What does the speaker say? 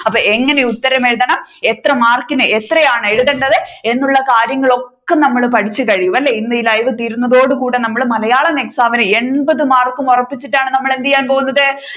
അപ്പൊ എങ്ങനെ ഉത്തരം എഴുതണം എത്ര മാർക്കിന് എത്രയാണ് എഴുതേണ്ടത് എന്നുള്ള കാര്യങ്ങൾ ഒക്കെ നമ്മൾ പഠിച്ചു കഴിഞ്ഞു അല്ലെ ഇന്ന് ഈ ലൈവ് തീരുന്നതോടെ കൂടെ നമ്മൾ മലയാളം exam ഇൻ എൺപത് മാർക്കും ഒറപ്പിച്ചിട്ടാണ് നമ്മൾ എന്ത് ചെയ്യാൻ പോകുന്നത്